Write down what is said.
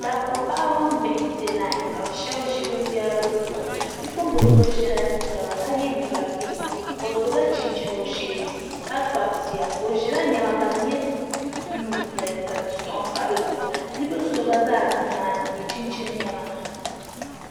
Dabba paɣiba mini bihi m-pe lain ka bɛ shɛba ʒi binyɛra bɛ zuɣu ni bipuɣimbil' so ʒila nɛma ka ye liiɡa pinki o sola chinchini o shee ni ka kpabi bia o ʒila nɛma ka di nyɛ buluu n-nyɛ li ka sɔŋ pa di zuɣu bibil' so ɡba zaa za nimaani n-ye chinchini nɛma